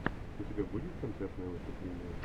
у тебя будет концертное выступление